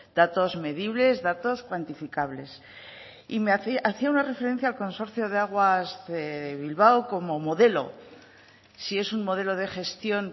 datos medibles datos cuantificables y hacía una referencia al consorcio de aguas de bilbao como modelo si es un modelo de gestión